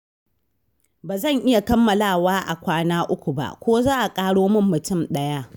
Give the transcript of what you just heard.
Ba zan iya kammalawa a kwana uku ba, ko za a ƙaro min mutum ɗaya?